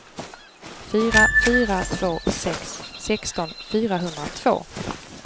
fyra fyra två sex sexton fyrahundratvå